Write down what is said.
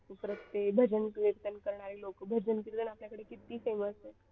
भजन कीर्तन करणारे लोक भजन कीर्तन आपल्याकडे किती famous आहे.